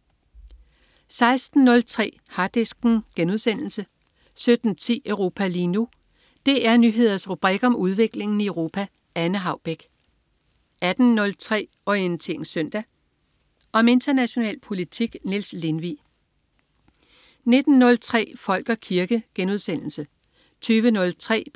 16.03 Harddisken* 17.10 Europa lige nu. DR Nyheders rubrik om udviklingen i Europa. Anne Haubek 18.03 Orientering Søndag. Om international politik. Niels Lindvig 19.03 Folk og kirke* 20.03